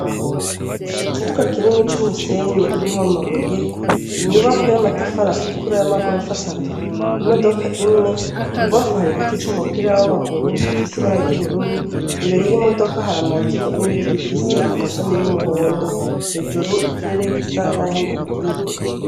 Ikibuga kinini c'umusenyi urimwo amabuye, inyubakwa y'amatafari atukura y'amagorofa atatu, imodoka imwe, ibubamfu hari igiti c'umupira w'amaguru gifise ibara ry'ubururu, imbere y'imodoka hari amazu n'ibiti bifise amashami y'umuhondo, hejuru ikirere gisa naho imvura igira irwe.